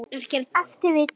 Ef til vill!